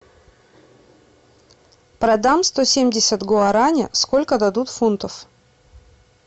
продам сто семьдесят гуарани сколько дадут фунтов